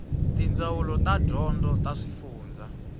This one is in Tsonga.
tindzawulo ta dyondzo ta swifundzha